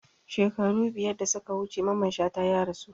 Shekaru biyar da suka wuce Mamman Shata ya rasu